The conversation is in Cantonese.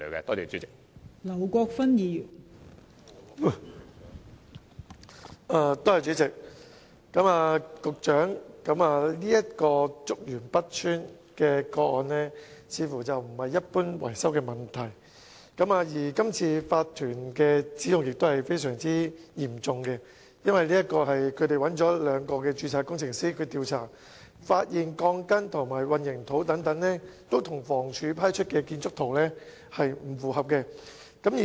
代理主席，竹園北邨這宗個案似乎不是一般的維修問題，而今次法團的指控亦非常嚴重，因為他們找來兩名結構工程師調查，發現鋼筋及混凝土等均與房屋署批出的建築圖則不相符。